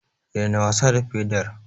Daina wasa da pedar.